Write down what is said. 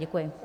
Děkuji.